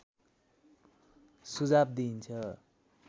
सुझाव दिइन्छ